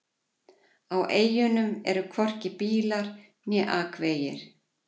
Á eyjunum eru hvorki bílar eða akvegir.